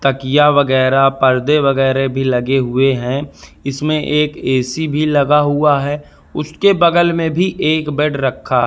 तकिया वगैरा पर्दे वगैरे भी लगे हुए हैं इसमें एक ए_सी भी लगा हुआ है उसके बगल में भी एक बेड रखा --